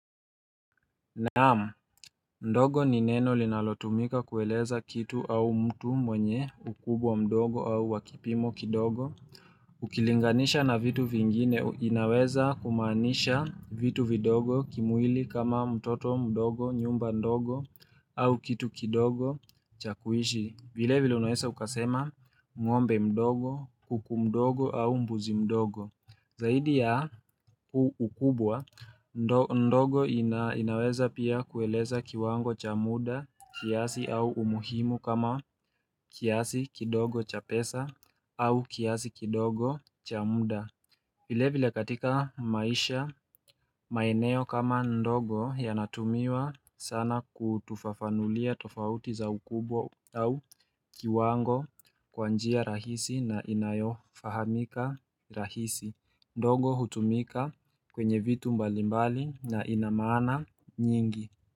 Naamu, ndogo ni neno linalotumika kueleza kitu au mtu mwenye ukubwa mdogo au wakipimo kidogo Ukilinganisha na vitu vingine, inaweza kumaanisha vitu vidogo kimwili kama mtoto mdogo nyumba ndogo au kitu kidogo chakuishi vile vile unawesa ukasema ngombe mdogo, kuku mdogo au mbuzi mdogo Zaidi ya ukubwa, ndogo inaweza pia kueleza kiwango cha muda kiasi au umuhimu kama kiasi kidogo cha pesa au kiasi kidogo cha muda vile vile katika maisha, maeneo kama ndogo yanatumiwa sana kutufafanulia tofauti za ukubwa au kiwango kwanjia rahisi na inayofahamika rahisi ndogo hutumika kwenye vitu mbalimbali na inamana nyingi.